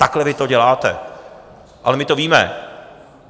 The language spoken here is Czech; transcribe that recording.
Takhle vy to děláte, ale my to víme.